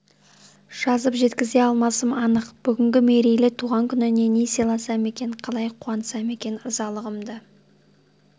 жазып жеткізе алмасым анық бүгінгі мерейлі туған күніне не сыйласам екен қалай қуантсам екен ырзалығымды